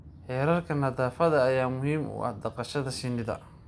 Xeerarka nadaafadda ayaa muhiim u ah dhaqashada shinnida.